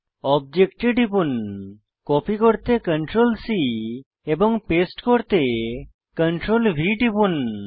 অবজেক্টে টিপুন কপি করতে Ctrl C এবং পেস্ট করতে Ctrl V টিপুন